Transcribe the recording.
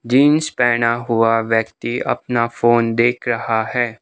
Jeans पहना हुआ व्यक्ति अपना फोन देख रहा है।